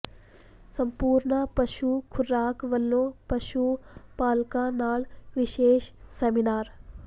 ਸੰਪੂਰਨਾ ਪਸ਼ੂ ਖ਼ੁਰਾਕ ਵਲੋਂ ਪਸ਼ੂ ਪਾਲਕਾਂ ਨਾਲ ਵਿਸ਼ੇਸ਼ ਸੈਮੀਨਾਰ